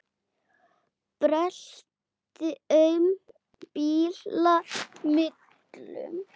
Brölti aum bíla millum.